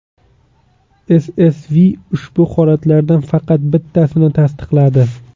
SSV ushbu holatlardan faqat bittasini tasdiqladi.